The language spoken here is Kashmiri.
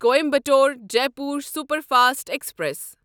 Coimbatore Jaipur superfast express